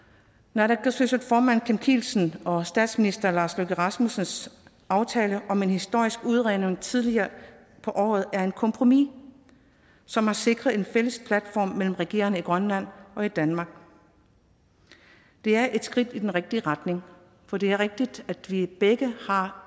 naalakkersuisut formand kim kielsens og statsminister lars løkke rasmussens aftale om en historisk udredning tidligere på året er et kompromis som har sikret en fælles platform mellem regeringerne i grønland og danmark det er et skridt i den rigtige retning for det er rigtigt at vi begge har